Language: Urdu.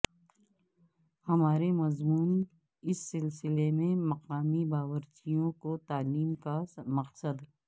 ہمارے مضمون اس سلسلے میں مقامی باورچیوں کو تعلیم کا مقصد